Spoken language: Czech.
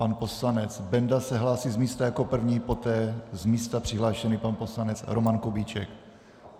Pan poslanec Benda se hlásí z místa jako první, poté z místa přihlášený pan poslanec Roman Kubíček.